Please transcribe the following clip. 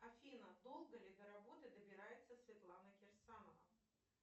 афина долго ли до работы добирается светлана кирсанова